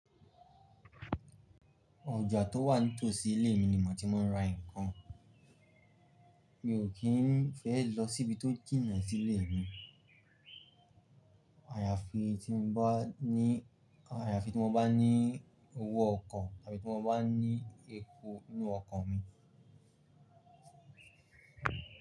Ọjà tó wà ní tòsí ilé mi ni mò tí máa ń ra ǹkan. Mi ò kí n fẹ́ lọ sí ibi tó jìnà sí ilé mi. Àyàfi tí mo bá ní, àyàfi tí mo bá ní owó ọkọ̀ tàbí tí mo bá ní epo ninú ọkọ̀ mi.